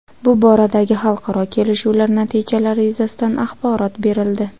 bu boradagi xalqaro kelishuvlar natijalari yuzasidan axborot berildi.